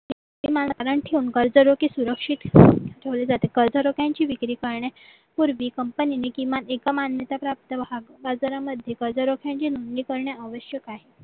ठेवून कर्जरोखे सुरक्षित ठेवून ठेवले जाते कर्जरोख्यांची विक्री करण्यापूर्वी company ने किमान एका मान्यताप्राप्त बाजारामध्ये कर्जरोख्यांचे नोंदणी करणे आवश्यक आहे